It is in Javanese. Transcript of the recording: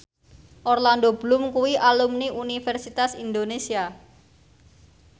Orlando Bloom kuwi alumni Universitas Indonesia